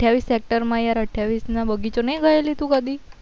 અઠ્યાવીસ secret માં અઠ્યાવીસ ના બગીચો નહી ગયેલી તું કદી